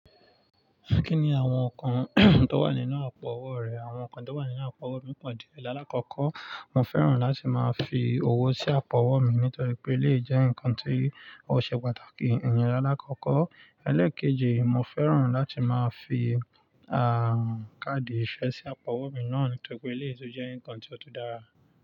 Kí ni àwọn nǹkan tó wà nínú àpò owó rẹ̀ àwọn nǹkan tó wà nínú àpò owó mi pọ̀ díẹ̀. Láàkọ́kọ́, mo fẹ́ràn láti máa fi owó sí àpò owó mi nítorí pé éléyì jẹ́ nǹkan tí ó ṣe pàtàkì. Ìyẹn lálàkọ́kọ́. Ẹlẹ́ẹ̀keji, mo fẹ́ràn láti máa fi káàdì ìfẹ́ sí àpò owó mi náà nítorí pé éléyì tu jẹ́ nǹkan tí ó tú dára.